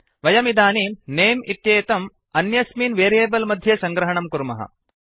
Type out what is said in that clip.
वयमिदानीं नमे नेम् इत्येतम् अन्यस्मिन् वेरियेबल् मध्ये सङ्ग्रहणं कुर्मः